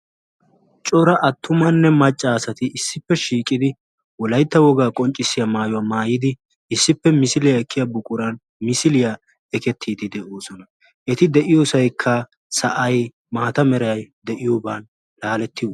cora attumanne macca asati issippe shiiqidi wolaytta wogaa qonccissiya maayuwa maayiidi issippe misiliya ekiya buquraa ekketiidi de'oosona. eti de'iyosaykka sa'ay maata malay de'iyogan laaleti..